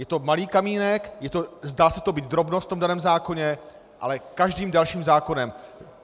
Je to malý kamínek, zdá se to být drobnost v tom daném zákoně, ale každým dalším zákonem.